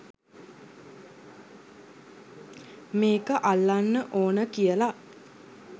මේක අල්ලන්න ඕන කියලා.